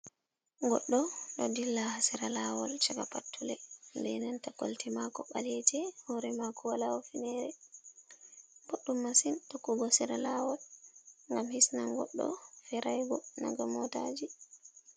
Goɗɗo ɗo dilla hasira lawol caka pat tule be nenta kolte mako ɓaleje, hore mako wala hufnere, boɗɗum masin tokkugo sira lawol ngam hisnan goɗɗo feiraigo naga motaji.